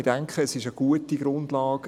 Wir denken, es ist eine gute Grundlage.